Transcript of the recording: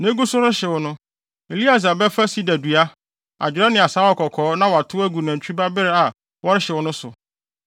Na egu so rehyew no, Eleasar bɛfa sida dua, adwerɛ ne asaawa kɔkɔɔ na watow agu nantwi ba bere a wɔrehyew no so.